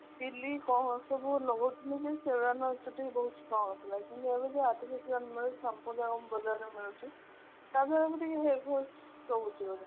ଝିଲ୍ଲୀ କଣ ସବୁ ଲଗାଉଥିଲେ ଯେ ଚୁଟି ବହୁତ strong ଥିଲା କିନ୍ତୁ ଏବେ ଯୋଉ artificial ମିଳୁଛି shampoo ଯାକ ବଜ଼ାର ରେ ମିଳୁଛି ତାଦେହେରେ hairfall ରହୁଛି ବୋଧେ